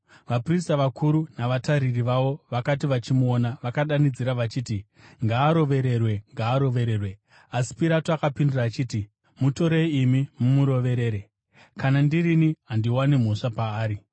Vaprista vakuru navatariri vavo vakati vachimuona, vakadanidzira vachiti, “Ngaarovererwe! Ngaarovererwe!” Asi Pirato akapindura achiti, “Mutorei imi mumuroverere. Kana ndirini, handiwani mhosva paari.”